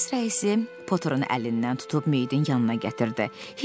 Polis rəisi Poterin əlindən tutub meyidin yanına gətirdi.